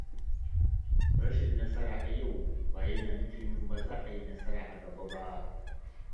Rashin nasara a yau ba yana nufin ba za a yi nasara a gaba ba.